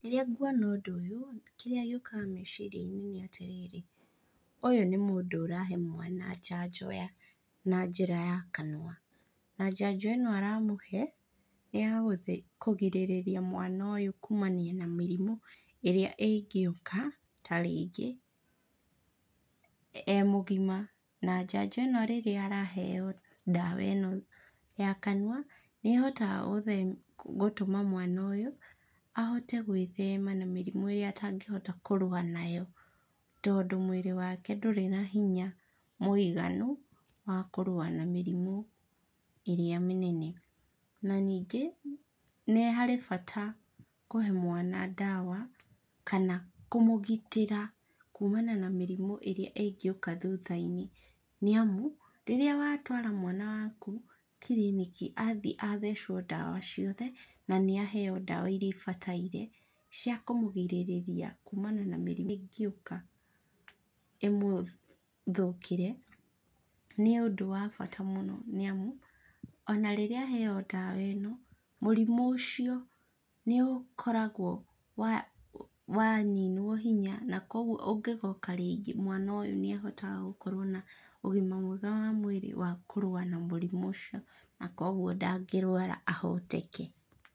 Rĩrĩa nguona ũndũ ũyũ, kĩrĩa gĩũkaga meciriainĩ nĩatĩrĩrĩ, ũyũ nĩ mũndũ ũrahe mwana njanjo ya na njĩra ya kanua, na njanjo ĩno aramũhe, nĩyakũgĩrĩrĩria mwana ũyũ kumania na mĩrimũ, ĩrĩa ĩngĩuka, tarĩngĩ, e mũgima na njanjo ĩno rĩrĩa araheo ndawa ĩno ya kanua, nĩahotaga gũ gũtũma mwana ũyũ, ahote gwĩthema na mĩrimũ ĩrĩa atangĩhota kũrũa nayo, tondũ mwĩrĩ wake ndũrĩ nahinya mũiganu, wa kũrũa na mĩrimũ ĩrĩa mĩnene. Na ningĩ, nĩ harĩ bata kũhe mwana ndawa, kana kũmũgitĩra kumana na mĩrimũ ĩrĩa ĩngĩũka thuthainĩ, nĩamu, rĩrĩa watwara mwana waku, kiriniki, athiĩ athecwo ndawa ciothe, na nĩaheo ndawa iria ibataire, cia kũmũgirĩrĩria kumana na mĩrimũ ingĩuka, ĩmũthũkĩre, nĩ ũndũ wa bata mũno nĩamu, ona rĩrĩa aheo ndawa ĩno, mũrimũ ũcio nĩũkoragwo wa waninwo hinya nakogwo ũngĩgoka rĩngĩ, mwana ũyũ nĩahotaga gũkorwo na ũgima mwega wa mwĩrĩ wa kũrũa na mũrimũ ũcio, nakoguo ndagĩrwara ahoteke.